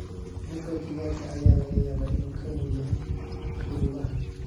Mugga digaaga ayaa laga yaabaa inuu ka weyn yahay shuruudaha.